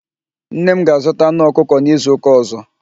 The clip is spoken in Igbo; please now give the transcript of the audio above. Nne m ga-azụta anụ ọkụkọ n'izuụka ọ̀zọ́.